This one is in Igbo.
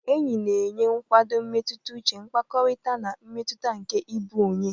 Enyi na-enye nkwado mmetụta uche, mkpakọrịta, na mmetụta nke ịbụ onye.